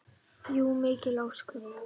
Jú, mikil ósköp.